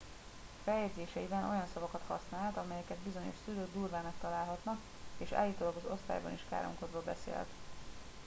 feljegyzéseiben olyan szavakat használt amelyeket bizonyos szülők durvának találhatnak és állítólag az osztályban is káromkodva beszélt